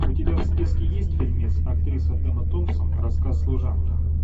у тебя в списке есть фильмец актриса эмма томсон рассказ служанки